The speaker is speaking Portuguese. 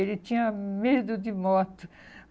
Ele tinha medo de moto.